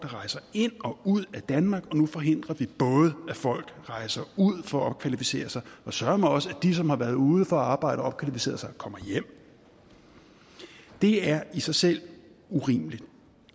rejser ind og ud af danmark og nu forhindrer vi både at folk rejser ud for at opkvalificere sig og søreme også at de som har været ude for at arbejde og opkvalificere sig kommer hjem det er i sig selv urimeligt